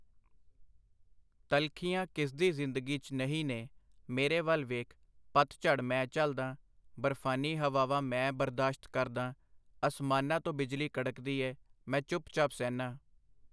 ਤਲਖ਼ੀਆਂ ਕਿਸਦੀ ਜ਼ਿੰਦਗੀ 'ਚ ਨਹੀ ਨੇ ? ਮੇਰੇ ਵੱਲ ਵੇਖ , ਪੱਤਝੜ ਮੈਂ ਝੱਲਦਾਂ ,ਬਰਫ਼ਾਨੀ ਹਵਾਵਾਂ ਮੈ ਬਰਦਾਸ਼ਤ ਕਰਦਾਂ ,ਆਸਮਾਨਾਂ ਤੋ ਬਿਜਲੀ ਕੜਕਦੀ ਏ, ਮੈ ਚੁੱਪ-ਚਾਪ ਸਹਿਨਾਂ.